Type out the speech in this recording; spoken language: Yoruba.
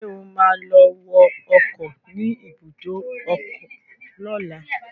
Ṣé o ma lọ wọ ọkọ̀ ni ibùdó ọkọ lọ́la?